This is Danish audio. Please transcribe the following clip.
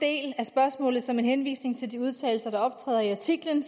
jeg som en henvisning til de udtalelser der optræder i artiklen